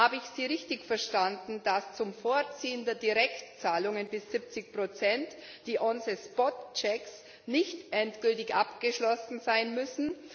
Habe ich Sie richtig verstanden, dass zum Vorziehen der Direktzahlungen bis 70 die Kontrollen vor Ort nicht endgültig abgeschlossen sein müssen?